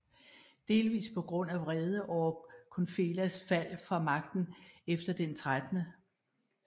Delvist på grund af vrede over Kunphelas fald fra magten efter den 13